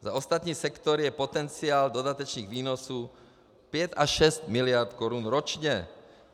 Za ostatní sektory je potenciál dodatečných výnosů 5 až 6 miliard korun ročně.